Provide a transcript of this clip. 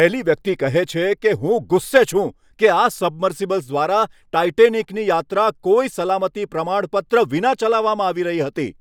પહેલી વ્યક્તિ કહે છે કે, હું ગુસ્સે છું કે આ સબમર્સિબલ્સ દ્વારા ટાઈટેનિકની યાત્રા કોઈ સલામતી પ્રમાણપત્ર વિના ચલાવવામાં આવી રહી હતી.